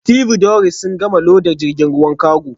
Stevedores sun gama loda jirgin ruwan kago